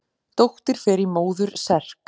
Dóttir fer í móður serk.